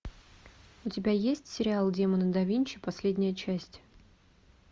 у тебя есть сериал демоны да винчи последняя часть